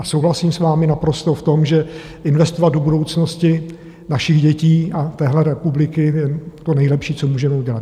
A souhlasím s vámi naprosto v tom, že investovat do budoucnosti našich dětí a téhle republiky je to nejlepší, co můžeme udělat.